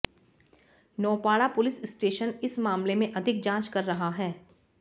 Naupada police station इस मामले में अधिक जांच कर रहा है